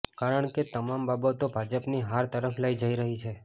કારણ કે તમામ બાબતો ભાજપની હાર તરફ લઈ જઈ રહી છે